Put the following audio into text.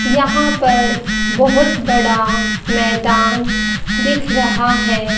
यहां पर बहोत बड़ा मैदान दिख रहा है।